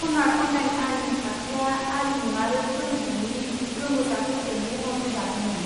Fan art online आरिमु थाखोआ आरिमु आरो फोरोंथाइनि रोंग'साफोरजों महर होजादोंमोन।